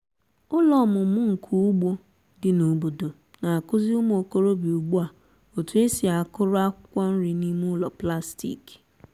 ụlọ ọmụmụ nka ugbo dị n'obodo na-akụzi ụmụ okorobịa ugbu a otu esi akụrụ akwụkwọ nri n'ime ụlọ plastik.